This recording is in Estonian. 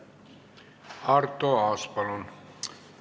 Arto Aas, palun!